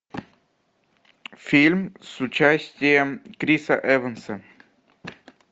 фильм с участием криса эванса